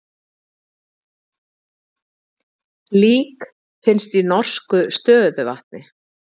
Lík finnst í norsku stöðuvatni